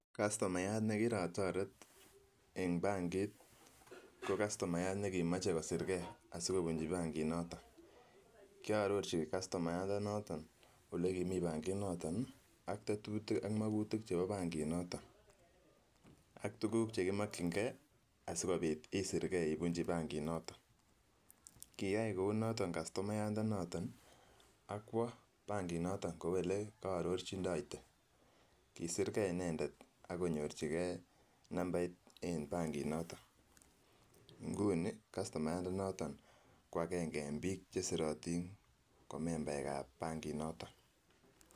Kastomayat nekirotoret en bankit ko kastomayat nekimoche kosirke asikobunchi banki noton, koarorchin kastomayandanoton yekimii kasinoton atetutik ak makutik chebo banki noton, ak tukuk chekimokying'e asikobit isirke ibunchi banki noton, kiyai kounoton kastomayanda noton ak kwoo banki noton kou elee ko ororchindoite, kisirke inendet ak konyorchike nambait en banki noton, inguni kastomayanda noton ko akeng'e en biik chesirotin ko membaekab banki noton.